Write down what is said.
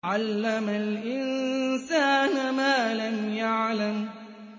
عَلَّمَ الْإِنسَانَ مَا لَمْ يَعْلَمْ